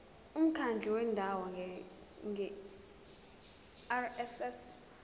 umkhandlu wendawo ngerss